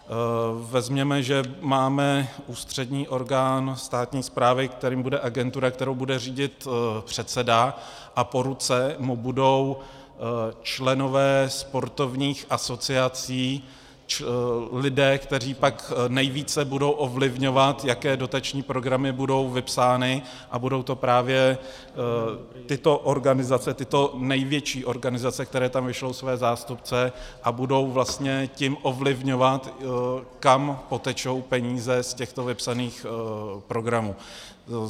Vezměme, že máme ústřední orgán státní správy, kterým bude agentura, kterou bude řídit předseda, a po ruce mu budou členové sportovních asociací, lidé, kteří pak nejvíce budou ovlivňovat, jaké dotační programy budou vypsány, a budou to právě tyto organizace, tyto největší organizace, které tam vyšlou své zástupce a budou vlastně tím ovlivňovat, kam potečou peníze z těchto vypsaných programů.